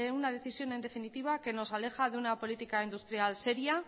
una decisión en definitiva que nos aleja de una política industrial seria